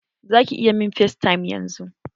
Za ki iya min facetime yanzun?